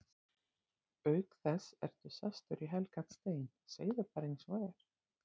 Auk þess ertu sestur í helgan stein, segðu bara eins og er.